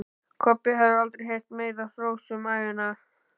Kobbi hafði aldrei heyrt meira hrós um ævina.